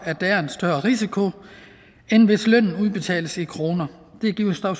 at der er en større risiko end hvis lønnen udbetales i kroner det giver